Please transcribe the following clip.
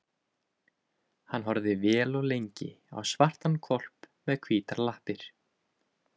Hann horfði vel og lengi á svartan hvolp með hvítar lappir.